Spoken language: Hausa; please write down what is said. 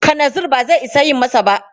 Kananzir ba zai isa yin masa ba.